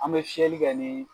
An bɛ fiɛli kɛ ni